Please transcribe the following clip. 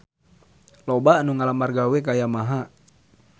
Loba anu ngalamar gawe ka Yamaha